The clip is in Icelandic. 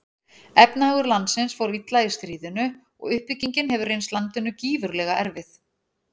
Efnahagur landsins fór illa í stríðinu og uppbyggingin hefur reynst landinu gífurlega erfið.